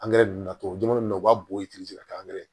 Angɛrɛ ninnu na tubabu jamana ninnu u b'a bɔ i ti ka taa angɛrɛ